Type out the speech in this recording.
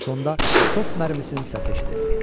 Sonda top mərmisinin səsi eşidildi.